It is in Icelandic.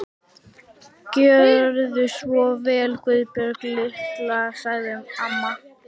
Gjörðu svo vel Guðbjörg litla, sagði amma.